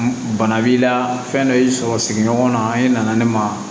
Bana b'i la fɛn dɔ y'i sɔrɔ sigiɲɔgɔn na an nana ne ma